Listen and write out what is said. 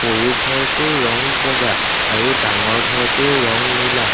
সৰু ঘৰটোৰ ৰং বগা আৰু ডাঙৰ ঘৰটোৰ ৰং নীলা।